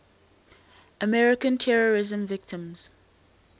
american terrorism victims